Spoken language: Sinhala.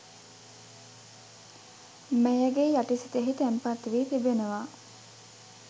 මැයගේ යටි සිතෙහි තැන්පත් වී තිබෙනවා